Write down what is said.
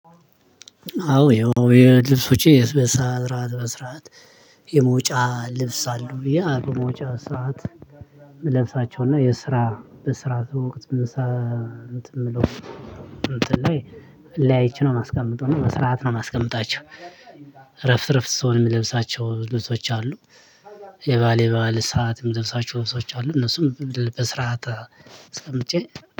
አዎ የልብሶቼ በሰአት እራት መስራት የመውጫ ልብስ አሉ ብዬ በመውጫ ሰዓት የምለብሳቸው እና የስራ በስራ ወቅት የምሰ እንትን የምለው እንትን ላይ ለያይቼ ነው የማስቀምጠው እና በስረአት ነው የማስቀምጣቸው። እረፍት እረፍት ስሆን የምለብሳቸው ልብሶች አሉ። የበአል የበአል ሰዓት የምለብሳቸው ልብሶች አሉ እነሱም በስርዓት አስቀምጬ